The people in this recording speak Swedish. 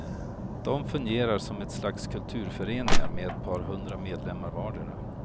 De fungerar som ett slags kulturföreningar med ett par hundra medlemmar vardera.